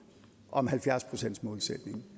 om halvfjerds procentsmålsætningen